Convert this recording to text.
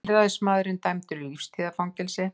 Tilræðismaður dæmdur í lífstíðarfangelsi